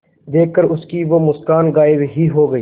देखकर उसकी वो मुस्कान गायब ही हो गयी